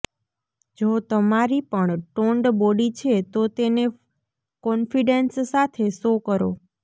જો તમારી પણ ટોન્ડ બોડી છે તો તેને કોન્ફિડેંસ સાથે શો કરો